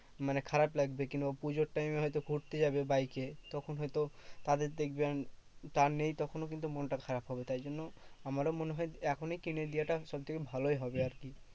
মানে খারাপ লাগবে। কিংবা পুজোর time এ হয়তো ঘুরতে যাবে বাইকে। তখন হয়তো তাদের দেখবে যা নেই তখন ওর কিন্তু মনটা খারাপ হবে তাই জন্য আমারও মনে হয় এখনই কিনে দেওয়াটা সবথেকে ভালোই হবে আরকি।